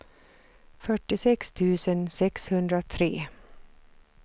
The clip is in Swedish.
fyrtiosex tusen sexhundratre